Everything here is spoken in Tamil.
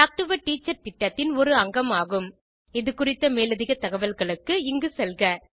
இது குறித்த மேலதிக தகவல்களுக்கு httpspoken tutorialorgNMEICT Intro இந்த டுடோரியலுக்கு தமிழாக்கம் கடலூர் திவா குரல் கொடுத்தது ஐஐடி பாம்பேவில் இருந்து பிரியா